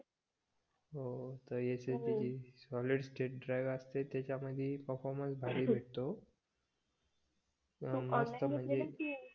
हो SSD solid state drive असते त्याच्यामधी परफॉर्मन्स भारी भेटतो